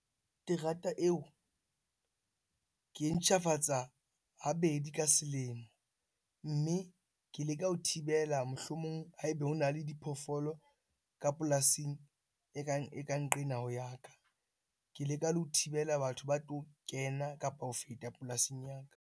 Terata eo ke e ntjhafatsa habedi ka selemo. Mme ke leka ho thibela, mohlomong ha ebe hona le diphoofolo ka polasing e ka nqena ho ya ka. Ke leka le ho thibela batho ba tlo kena kapa ho feta polasing ya ka.